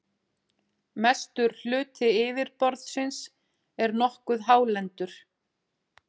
mestur hluti yfirborðsins er nokkuð hálendur